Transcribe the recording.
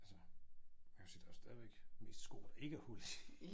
Altså man kan jo sige der jo stadigvæk mest sko der ikke er hul i